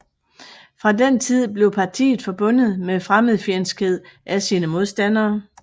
Fra den tid blev partiet forbundet med fremmedfjendskhed af sine modstandere